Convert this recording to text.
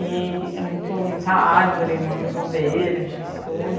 E é muito muita árvore, muito verde e tudo.